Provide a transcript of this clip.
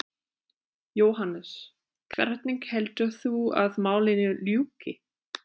Jóhannes: Hvernig heldur þú að málinu ljúki?